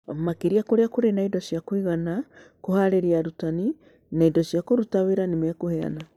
Makĩria kũrĩa kũrĩ na indo cia kũigana, kũharĩria arutani, na indo cia kũruta wĩra nĩ mekũheana.